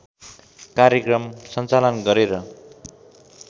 कार्यक्रम सञ्चालन गरेर